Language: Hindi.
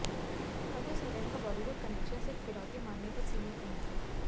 अबु सलेम का बॉलीवुड कनेक्शन सिर्फ फिरौती मांगने तक सीमित नहीं था